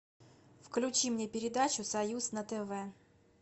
включи мне передачу союз на тв